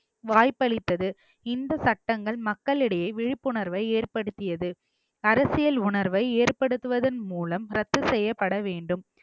வாய்ப்பளித்தது இந்த சட்டங்கள் மக்களிடையே விழிப்புணர்வை ஏற்படுத்தியது அரசியல் உணர்வை ஏற்படுத்துவதன் மூலம் ரத்து செய்யப்பட வேண்டும்